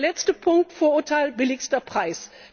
Und der letzte Punkt Vorurteil niedrigster Preis.